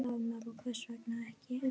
Dagmar: Og hvers vegna ekki?